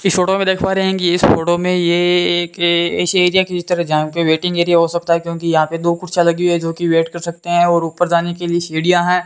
इस फोटो में देख पा रहे है कि इस फोटो में ये एकए इस एरिया की इस तरह जाम के वेटिंग एरिया हो सकता है क्योंकि यहां पे दो कुर्सियां लगी है जो कि वेट कर सकते है और ऊपर जाने के लिए सीढ़ियां है।